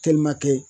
Telimakɛ